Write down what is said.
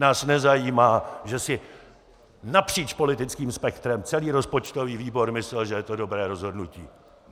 Nás nezajímá, že si napříč politickým spektrem celý rozpočtový výbor myslel, že je to dobré rozhodnutí.